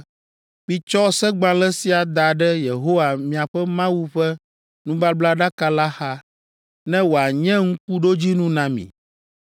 “Mitsɔ segbalẽ sia da ɖe Yehowa miaƒe Mawu ƒe nubablaɖaka la xa, ne wòanye ŋkuɖodzinu na mi